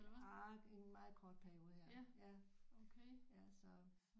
Ah en meget kort periode her ja ja så